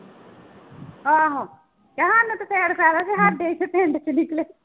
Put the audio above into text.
ਆਹੋ ਕਹਿ ਸਾਨੂੰ ਤੇ ਫਿਰ ਫ਼ਾਇਦਾ ਜੇ ਸਾਡੇ ਇੱਥੇ ਪਿੰਡ ਚ ਨਿਕਲੇ।